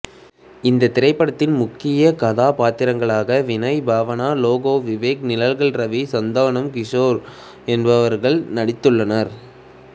இத்திரைப்படத்தின் முக்கிய கதாபாத்திரங்களாக வினய் பாவனா லேகா விவேக் நிழல்கள் இரவி சந்தானம் கிசோர் எனபவர்கள் நடித்துள்ளனர்